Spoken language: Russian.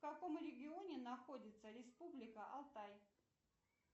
в каком регионе находится республика алтай